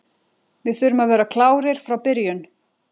Við þurfum að vera klárir frá byrjun.